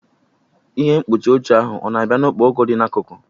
Ihe mkpuchi oche ahụ ọ na-abịa na okporoko dị n'akụkụ?